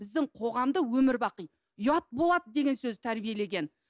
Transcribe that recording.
біздің қоғамды өмірбақи ұят болады деген сөз тәрбиелеген